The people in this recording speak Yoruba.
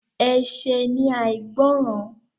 Ẹ̀ṣẹ̀ ni àìgbọràn.